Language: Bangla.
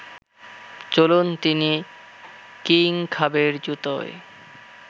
চলুন তিনি কিংখাবের জুতোয়